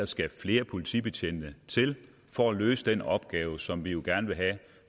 skal flere politibetjente til for at løse den opgave som vi jo gerne vil have at